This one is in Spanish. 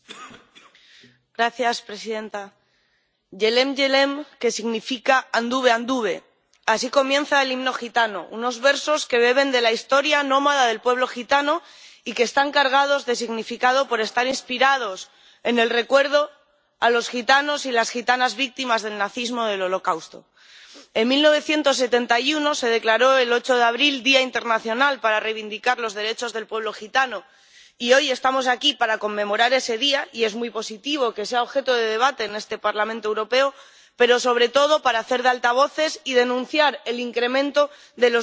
Señora presidenta que significa anduve, anduve así comienza el himno gitano, unos versos que beben de la historia nómada del pueblo gitano y que están cargados de significado por estar inspirados en el recuerdo a los gitanos y las gitanas víctimas del nazismo del Holocausto. En 1971, se declaró el 8 de abril Día Internacional del Pueblo Gitano, para reivindicar sus derechos, y hoy estamos aquí para conmemorar ese día —y es muy positivo que sea objeto de debate en este Parlamento Europeo— pero, sobre todo, para hacer de altavoces y denunciar el incremento de